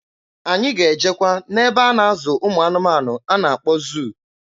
Anyị ga-ejekwa n'ebe a na-azụ ụmụanụmanụ a na-akpọ zụụ.